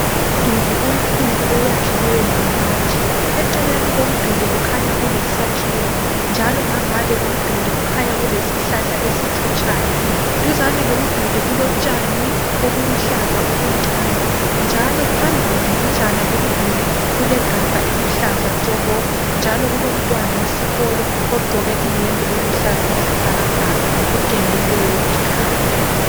Umduli omkhulu oyakhiweyo ngamatshe, eceleni komduli kukhanya kulesakhiwo njalo ngangale komduli kukhanya kulesihlahla esithutshayo. Duzane komduli kulotshani okuluhlaza okuncane njalo phambili mbijana komduli kulegabha eliluhlaza tshoko njalo kulomntwana wesikolo ogqoke iyembe eluhlaka okwesibhakabhaka, ogelileyo ikhanda.